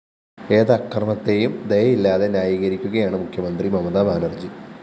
ഏതക്രമത്തെയും ദയയില്ലാതെ ന്യായീകരിക്കുകയാണ് മുഖ്യമന്ത്രി മമത ബാനര്‍ജി